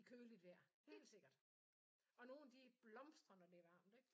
I køligt vejr helt sikkert og nogen de blomstrer når det er varmt ikke?